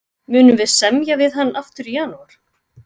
Munum við semja við hann aftur í janúar?